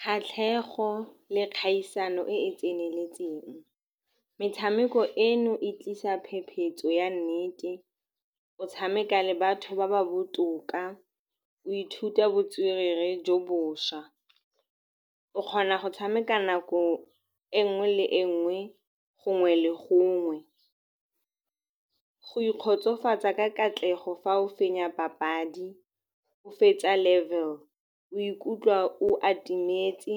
Kgatlhego le kgaisano e e tseneletseng. Metshameko eno e tlisa phepetso ya nnete, o tshameka le batho ba ba botoka, o ithuta botswerere jo bošwa. O kgona go tshameka nako e nngwe le e nngwe, gongwe le gongwe. Go ikgotsofatsa ka katlego fa o fenya papadi, o fetsa level o ikutlwa o atumetse